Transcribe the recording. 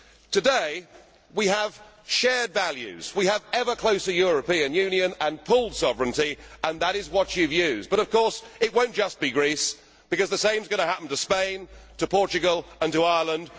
Today we have shared values'. We have an ever closer European Union' and pooled sovereignty' and that is what you have used, but of course it will not just be Greece, because the same is going to happen to Spain, to Portugal and to Ireland.